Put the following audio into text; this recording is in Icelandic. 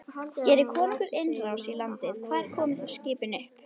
Geri konungur innrás í landið, hvar koma þá skipin upp?